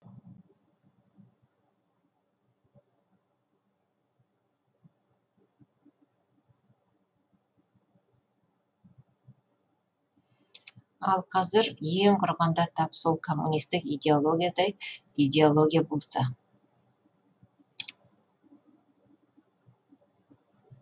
ал қазір ең құрығанда тап сол коммунистік идеологиядай идеология болса